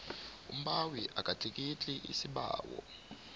umbawi akatlikitli isibawo